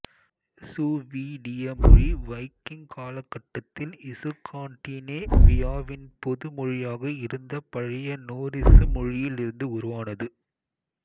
சுவீடிய மொழி வைக்கிங் காலகட்டத்தில் இசுக்கான்டினேவியாவின் பொது மொழியாக இருந்த பழைய நோரிசு மொழியிலிருந்து உருவானது